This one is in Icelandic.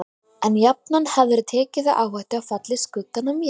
En jafnan hefðirðu tekið þá áhættu að falla í skuggann af mér.